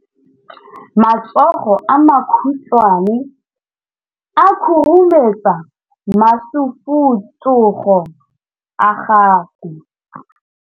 matsogo a makhutshwane a khurumetsa masufutsogo a gago